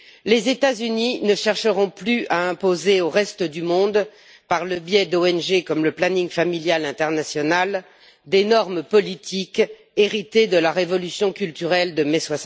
Les États Unis ne chercheront plus à imposer au reste du monde, par le biais d'ONG, comme le planning familial international, des normes politiques héritées de la révolution culturelle de mai